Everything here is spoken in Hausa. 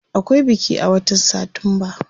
Akwai biki a watan satumba.